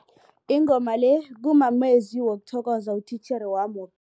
Ingoma le kumamezwi wokuthokoza utitjhere wami